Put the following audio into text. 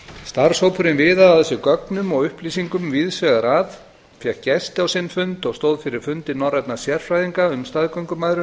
starfshópurinn viðaði að sér gögnum og upplýsingum víðs vegar að fékk gesti á sinn fund og stóð fyrir fundi norrænna sérfræðinga um staðgöngumæðrun